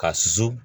Ka susu